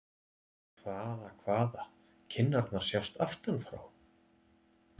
Hvaða, hvaða- kinnarnar sjást aftan frá!